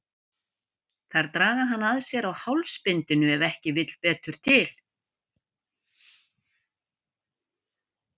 Þær draga hann að sér á hálsbindinu ef ekki vill betur til.